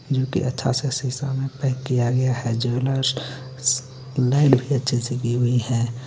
जोके अच्छा सा सीसा मे पैक किया गया हे ज्वेलर्स अच्छा से कि हुई हे.